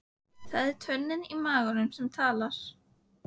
Það er tönnin í maganum sem talar.